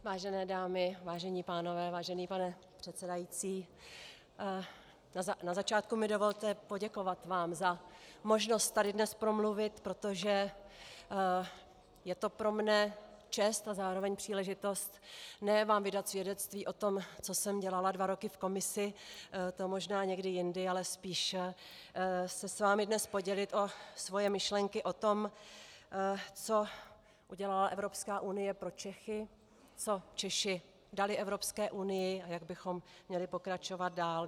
Vážené dámy, vážení pánové, vážený pane předsedající, na začátku mi dovolte poděkovat vám za možnost tady dnes promluvit, protože je to pro mě čest a zároveň příležitost ne vám vydat svědectví o tom, co jsem dělala dva roky v Komisi, to možná někdy jindy, ale spíš se s vámi dnes podělit o svoje myšlenky o tom, co udělala Evropská unie pro Čechy, co Češi dali Evropské unii a jak bychom měli pokračovat dál.